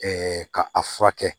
ka a furakɛ